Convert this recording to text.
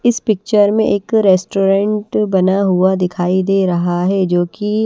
इस पिक्चर में एक रेस्टोरेंट बना हुआ दिखाई दे रहा है जो की--